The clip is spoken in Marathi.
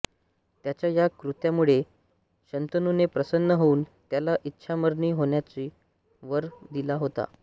त्याच्या या कृत्यामुळे शंतनूने प्रसन्न होऊन त्याला इच्छामरणी होण्याचा वर दिला होता